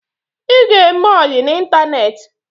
Ị ga-eme ọyi n'Ịntaneti